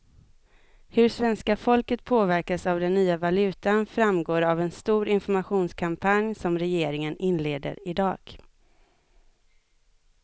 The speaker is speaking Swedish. Hur svenska folket påverkas av den nya valutan framgår av en stor informationskampanj som regeringen inleder i dag.